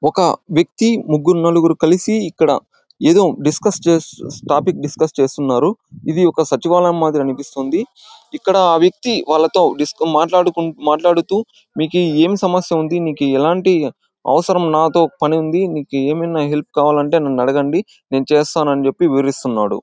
ఒక వ్యక్తి ముగ్గురు నలుగురు కలిసి ఇక్కడ ఎదో డిస్కర్స్ టాపిక్ డిస్కర్స్ చేస్తున్నారు. ఇది ఒక సచివాలయం మాదిరి అనిపిస్తుంది. ఇక్కడ ఆ వ్యక్తి వాళ్లతో డిస్క్ మాట్లాడుకు మాట్లాదుతూ మీకీ ఎం సమస్య ఉంది.మీకీ ఎలాంటి అవసరం నాతో పని ఉంది. మీకీ ఏమయినా హెల్ప్ కావాలంటే నన్ను అడగండి. నేను చేస్తాను అని చెప్పి వివరిస్తున్నాడు.